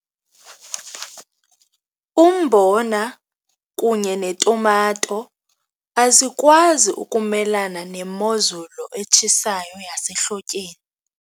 Umbona kunye netumato azikwazi ukumelana nemozulu etshisayo yasehlotyeni.